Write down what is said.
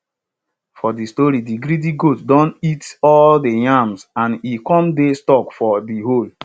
for de story de greedy goat don eat all dey yams and e come dey stuck for de hole